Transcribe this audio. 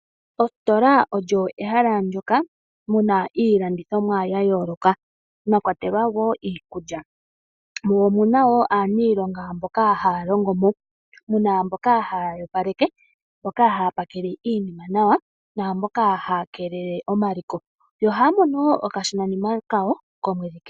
Ositola olyo ehala ndoka muna iilandithomwa ya yooloka mwa kwatelwa wo iikulya. Mo omuna wo aaniilonga mboka haya longo mo, muna mboka haya opaleke, mboka haya pakele iinima nawa, naamboka haya keelele omaliko. Yo ohaya mono wo okashonanima kawo komwedhi kehe.